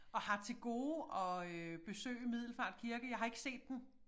Og har til gode at øh besøge Middelfart Kirke jeg har ikke set den